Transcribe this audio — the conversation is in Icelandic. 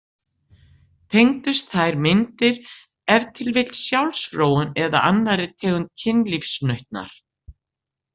Tengdust þær myndir ef til vill sjálfsfróun eða annarri tegund kynlífsnautnar?